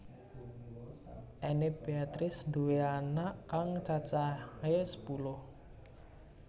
Enny Beatrice nduwé anak kang cacahé sepuluh